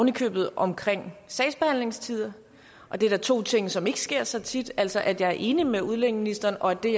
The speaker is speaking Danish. i købet om sagsbehandlingstider og det er da to ting som ikke sker så tit altså at jeg er enig med udlændingeministeren og at det